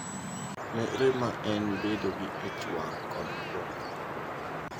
Mirima en bedo gi ichwang kod buok